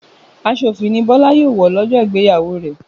Aṣọ òfì ni Bọlá yóò wọ̀ lọ́jọ́ ìgbéyàwó rẹ̀